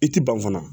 I ti ban fana